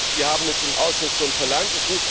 Wir haben es im Ausschuss schon verlangt.